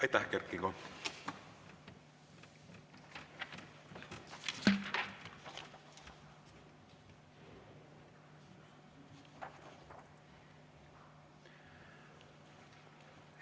Aitäh, Kert Kingo!